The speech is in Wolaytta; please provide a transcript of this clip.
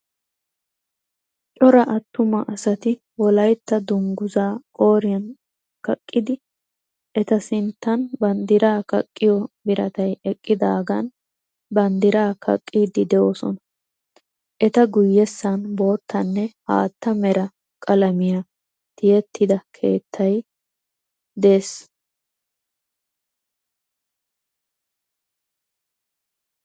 Cora atuma asati wolaytta dungizzaa qooriyan kaqqidi eta sinttan bandiraa kaqqiyo biratay eqqidaagan banddiraa kaqqiidi doosona. eta guyessan boottaanne haatta mera qalamiyaa tiyettida keettay dees.